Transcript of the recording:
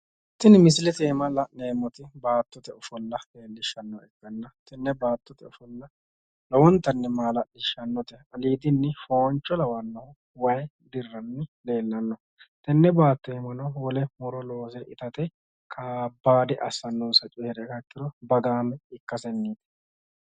Tini misilete aana la'neemmoti baattote ofolla leellishshannoha ikkanna tenne baattote ofolla lowonta maala'lishannote aliidinni fooncho lawanno way dirranni leellanno tenne baatto aana muro loose itate lowonta kabbaade assannoseri bagaame ikkaseeti.